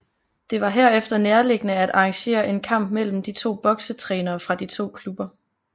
Det var herefter nærliggende at arrangere en kamp mellem de to boksetrænere fra de to klubber